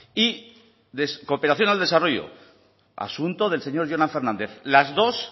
y cooperación al desarrollo asunto del señor jonan fernández las dos